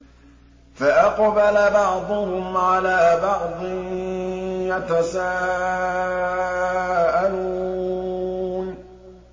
فَأَقْبَلَ بَعْضُهُمْ عَلَىٰ بَعْضٍ يَتَسَاءَلُونَ